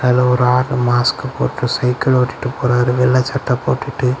இதுல ஒரு ஆள் மாஸ்க் போட்டு சைக்கிள் ஓட்டிட்டு போறாறு வெள்ளை சட்ட போட்டுட்டு.